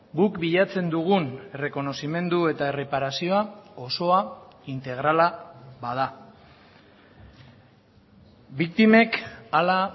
guk bilatzen dugun errekonozimendu eta erreparazioa osoa integrala bada biktimek hala